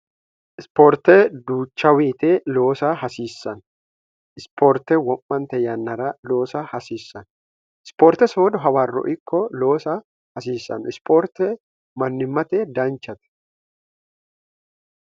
ispoorte duuchaawiite loosa hasiissanno isipoorte wo'mante yannara loosa hasiissanno ispoorte soodo hawarro ikko loosa hasiissanno ispoorte mannimmate danchate